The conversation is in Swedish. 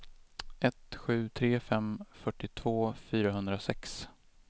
ett sju tre fem fyrtiotvå fyrahundrasex